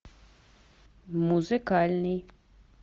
музыкальный